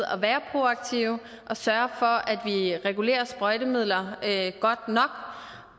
at være proaktive og sørge for at vi regulerer sprøjtemidler godt nok